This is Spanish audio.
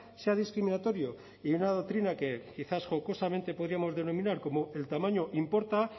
sea discriminatorio y una doctrina que quizás jocosamente podríamos denominar como el tamaño importa